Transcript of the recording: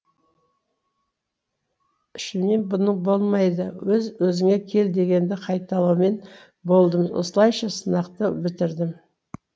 ішімнен бұның болмайды өз өзіңе кел дегенді қайталаумен болдым осылайша сынақты бітірдім